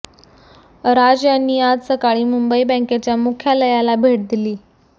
राज यांनी आज सकाळी मुंबई बँकेच्या मुख्यालयाला भेट दिली